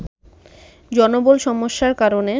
জনবল সমস্যার কারণে